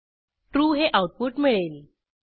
true हे output मिळेल